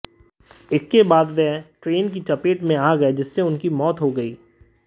इसके बाद वे ट्रेन की चपेट में आ गए जिससे उनकी मौत हो गई